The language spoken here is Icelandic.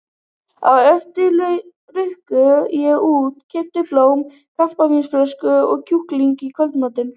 Á eftir rauk ég út, keypti blóm, kampavínsflösku og kjúkling í kvöldmatinn.